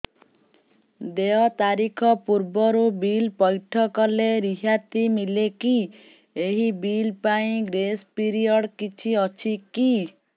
ଦେୟ ତାରିଖ ପୂର୍ବରୁ ବିଲ୍ ପୈଠ କଲେ ରିହାତି ମିଲେକି ଏହି ବିଲ୍ ପାଇଁ ଗ୍ରେସ୍ ପିରିୟଡ଼ କିଛି ଅଛିକି